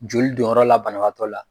Joli don yɔrɔ la banabagatɔ la.